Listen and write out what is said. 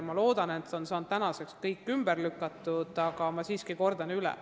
Ma loodan, et need kõik on tänaseks ümber lükatud, aga ma kordan siiski üle.